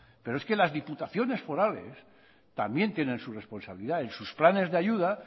pero es que las diputaciones forales también tienen su responsabilidad en sus planes de ayuda